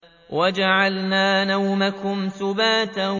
وَجَعَلْنَا نَوْمَكُمْ سُبَاتًا